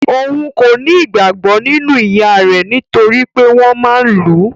Òun kò ní ìgbàgbọ nínú ìyá rẹ̀ nitoripe wọn máa n lu.